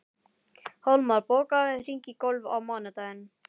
Hólmar, bókaðu hring í golf á mánudaginn.